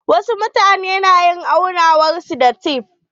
Wasu mutane na yin aunawar su da tef.